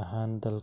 ahaan dalka.